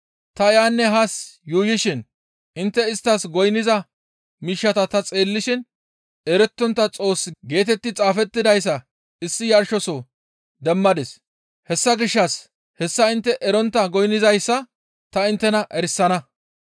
Ta yaanne haa yuuyishin intte isttas goynniza miishshata ta xeellishin, ‹Erettontta Xoos› geetetti xaafettidayssa issi yarshosoho demmadis; hessa gishshas hessa intte erontta goynnizayssa ta inttena erisana.